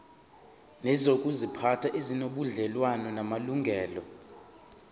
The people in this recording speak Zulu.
nezokuziphatha ezinobudlelwano namalungelo